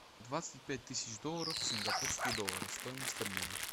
двадцать пять тысяч долларов в сингапурские доллары стоимость обмена